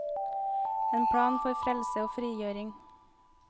En plan for frelse og frigjøring.